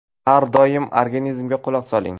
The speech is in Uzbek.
Har doim organizmga quloq soling.